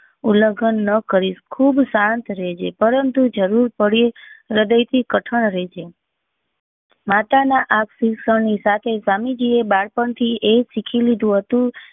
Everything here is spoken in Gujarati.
ઉલ્લ્ગ્ન નાં કરીશ ખુબ શાંત રહેજે પરંતુ જરૂર પડે હૃદય થી કથન રહેજે માતા ના આક્શીશો ની સાથે સ્વામી જી એ બાળપણ થી એ સીખી લીધું હતું